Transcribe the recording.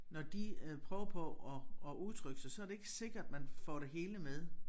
Når de øh prøver på at at udtrykke sig så det ikke sikkert man får det hele med